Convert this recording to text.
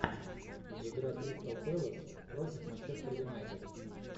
игра кристал пэлас против манчестер юнайтед